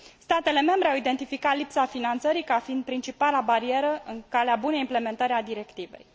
Statele membre au identificat lipsa finanțării ca fiind principala barieră în calea bunei implementări a directivei.